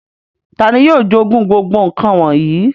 Tàni yio jogun gbogbo nkan wọnyi?